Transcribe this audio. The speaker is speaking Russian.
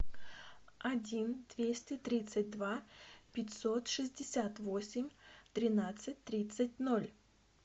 один двести тридцать два пятьсот шестьдесят восемь тринадцать тридцать ноль